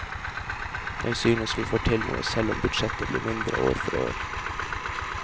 Jeg synes vi får til noe selv om budsjettet blir mindre år for år.